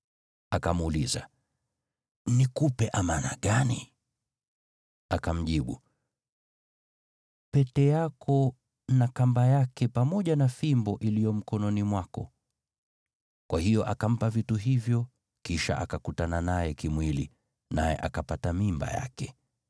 Akamuuliza, “Nikupe amana gani?” Akamjibu, “Pete yako na kamba yake pamoja na fimbo iliyo mkononi mwako.” Kwa hiyo akampa vitu hivyo kisha akakutana naye kimwili, naye akapata mimba yake.